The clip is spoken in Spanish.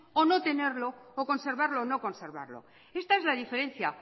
o no tenerlo o conservarlo o no conservarlo esta es la diferencia